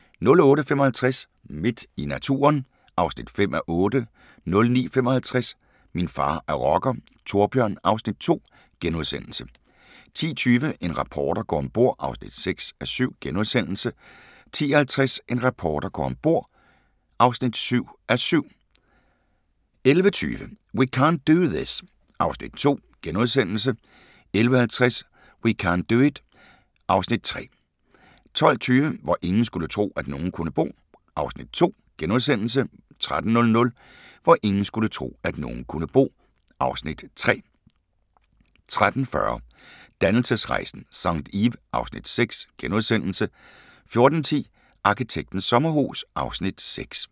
08:55: Midt i naturen (5:8) 09:55: Min far er rocker - Thorbjørn (Afs. 2)* 10:20: En reporter går om bord (6:7)* 10:50: En reporter går om bord (7:7) 11:20: We can't do it (Afs. 2)* 11:50: We can't do it (Afs. 3) 12:20: Hvor ingen skulle tro, at nogen kunne bo (Afs. 2)* 13:00: Hvor ingen skulle tro, at nogen kunne bo (Afs. 3) 13:40: Dannelsesrejsen – St. Ives (Afs. 6)* 14:10: Arkitektens sommerhus (Afs. 6)